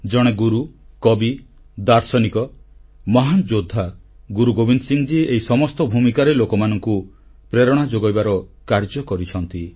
ଜଣେ ଗୁରୁ କବି ଦାର୍ଶନିକ ମହାନ ଯୋଦ୍ଧା ଭାବେ ଗୁରୁ ଗୋବିନ୍ଦ ସିଂ ଏହି ସମସ୍ତ ଭୂମିକାରେ ଲୋକମାନଙ୍କୁ ପ୍ରେରଣା ଯୋଗାଇବାର କାର୍ଯ୍ୟ କରିଛନ୍ତି